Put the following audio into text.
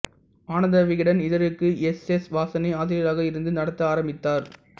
ஆனந்த விகடன் இதழுக்கு S S வாசனே ஆசிரியராக இருந்து நடத்த ஆரம்பித்தார்